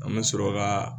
An bɛ sɔrɔ ka